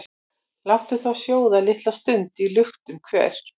Láttu þá sjóða litla stund í luktum hver,